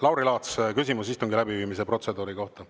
Lauri Laats, küsimus istungi läbiviimise protseduuri kohta.